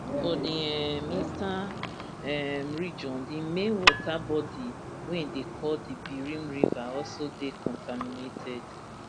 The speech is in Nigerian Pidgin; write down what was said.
for di um eastern um region di main water body wey dey call di birim river also dey contaminated